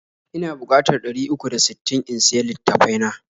Ina bukatar ɗari uku da sittin in siya litattafai na.